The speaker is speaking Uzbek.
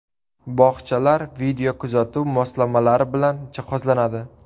Bog‘chalar videokuzatuv moslamalari bilan jihozlanadi.